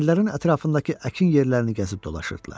Kəndlərin ətrafındakı əkin yerlərini gəzib dolaşırdılar.